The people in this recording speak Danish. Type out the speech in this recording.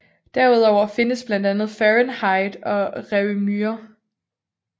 Derudover findes blandt andet fahrenheit og réaumur